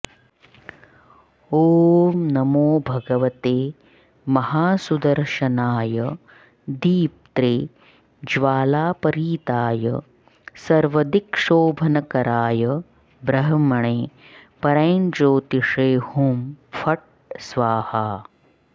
ॐ नमो भगवते महासुदर्शनाय दीप्त्रे ज्वालापरीताय सर्वदिक्शोभनकराय ब्रह्मणे परञ्ज्योतिषे हुं फट् स्वाहा